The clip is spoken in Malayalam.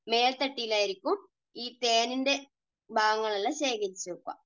മേൽത്തട്ടിൽ ഉം ആയിരിക്കും ഈ തേനിൻറെ ഭാഗങ്ങൾ എല്ലാം ശേഖരിച്ചു വയ്ക്കുക.